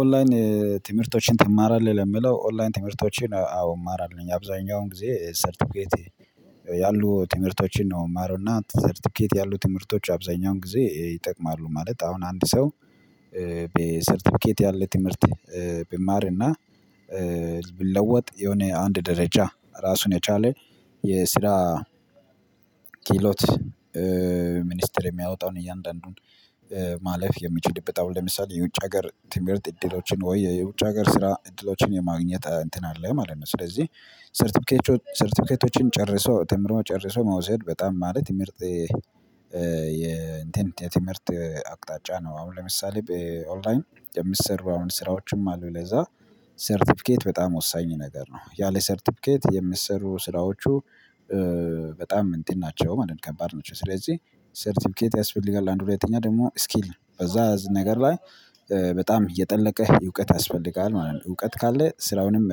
ኦንላይን ትምህርቶችን ትማራለህ? ለምለው ኦንላይን ትምህርቶችን አዎ እማራለሁኝ አብዛኛውን ጊዜ ሰርቲፊኬት ያሉ ትምህርቶችን ነው የምማረውና ሰርቲፊኬት ያሉ ትምህርቶች አብዛኛውን ጊዜ ይጠቅማሉ። ማለት አሁን አንድ ሰው ሰርተፊኬት ያለ ትምህርት ቢማርና ቢለወጥ የሆነ አንድ ደረጃ ራሱን የቻለ የስራ ኪህሎት ሚኒስትር የሚያወጣውን እያንዳንዱን ማለፍ የሚችልበት ለምሳሌ የውጭ ሀገር ትምህርት እድሎችን ወይ የውጭ ሀገር ስራ እድሎችን የማግኘት እንትን አለ ማለት ነው። ስለዚህ ሰርተፊኬቶችን ጨርሰው ተምሮ ጨርሰው መውሰድ በጣም ማለት የምርጥ የኢንቴንት የትምህርት አቅጣጫ ነው። አሁን ለምሳሌ ኦንላይን የሚሰሩ አሁን ስራዎችም አሉ። ለዛ ሰርቲፊኬት በጣም ወሳኝ ነገር ነው። ያ ላይ ሰርቲፊኬት የምሰሩ ስራዎቹ በጣም እንትን ናቸው ማለት ከባድ ነው። ስለዚህ ሰርቲፊኬት ያስፈልጋል አንድ ሁለተኛ ደግሞ ስኪል ነው በዛ ነገር ላይ በጣም እየጠለቀህ እውቀት ያስፈልጋል ማለት ነው። እውቀት ካለ ስራውንም